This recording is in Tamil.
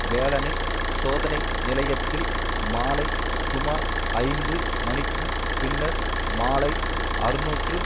வேலனை சோதனை நிலையைத்தில் மாலை சுமார் ஐந்து மணிக்கும் பின்னர் மாலை அறுநூற்று